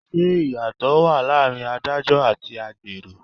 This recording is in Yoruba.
Ṣé ìyàtò wá láàárín Ádájọ́ àti agbẹjoro?